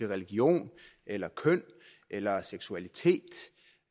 religion eller køn eller seksualitet